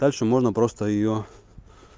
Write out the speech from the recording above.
дальше можно просто её